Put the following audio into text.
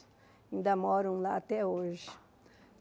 Ainda moram lá até hoje.